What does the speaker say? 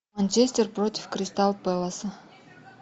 манчестер против кристал пэласа